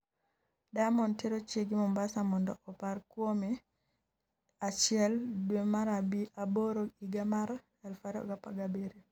Diamond tero chiege Mombasa mondo opar kuome 1 dwe mar aboro higa mar 2017